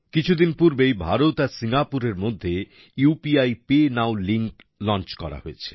কিছুদিন পূর্বেই ভারত আর সিঙ্গাপুরের মধ্যে UPI PayNow link launch করা হয়েছে